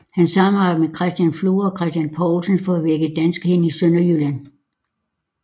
Han samarbejdede med Christian Flor og Christian Paulsen for at vække danskheden i Sønderjylland